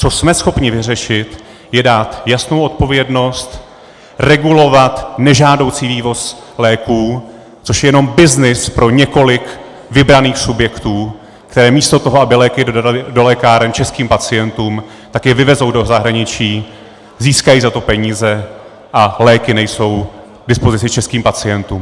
Co jsme schopni vyřešit, je dát jasnou odpovědnost, regulovat nežádoucí vývoz léků, což je jenom byznys pro několik vybraných subjektů, které místo toho, aby léky dodaly do lékáren českým pacientům, tak je vyvezou do zahraničí, získají za to peníze, a léky nejsou k dispozici českým pacientům.